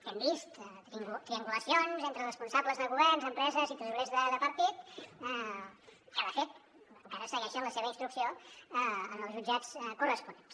hem vist triangulacions entre responsables de governs empreses i tresorers de partit que de fet encara segueixen la seva instrucció en els jutjats corresponents